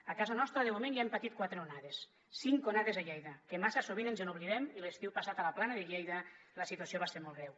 a casa nostra de moment ja hem patit quatre onades cinc onades a lleida que massa sovint ens n’oblidem i l’estiu passat a la plana de lleida la situació va ser molt greu